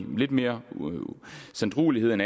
lidt mere sanddruelighed end